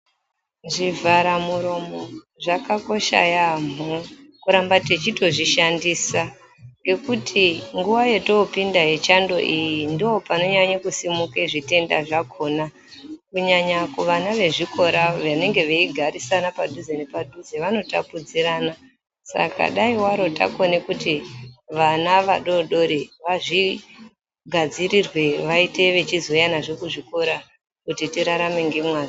Zvivhara muromo zvakakosha yaamho kuramba techitozvishandisa. Ngekuti nguva yotopinda yechando iyi ndopanonyanye kusimuka zvitenda zvakona. Kunyanya kuvana vezvikora vanenge veigarirana padhuze nepadhuze vanotapudzirana. Saka dai varo takone kuti vana vadodori vazvigadzirirwe vaite vachizouya nazvo kuzvikora kuti tirarame ngemazvo.